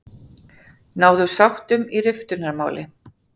Náðu sáttum í riftunarmáli